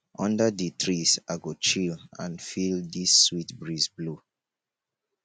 under di trees i go chill and feel di sweet breeze blow